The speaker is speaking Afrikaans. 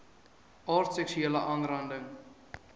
aard seksuele aanranding